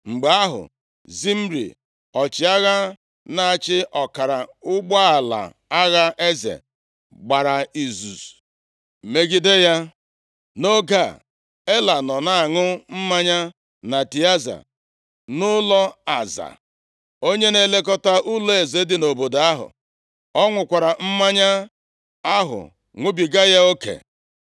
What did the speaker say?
Mgbe ahụ, Zimri, ọchịagha na-achị ọkara ụgbọala agha eze, gbara izuzu megide ya. Nʼoge a, Ela nọ na-aṅụ mmanya na Tịaza, nʼụlọ Aza, onye na-elekọta ụlọeze dị nʼobodo ahụ. Ọ ṅụkwara mmanya ahụ ṅụbiga ya oke.